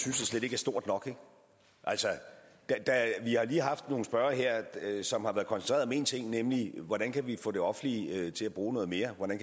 stort nok altså vi har lige haft nogle spørgere her som har været koncentreret om én ting nemlig hvordan vi kan få det offentlige til at bruge noget mere hvordan